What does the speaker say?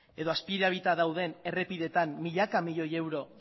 edo azpian dauden errepideetan milaka milioi euro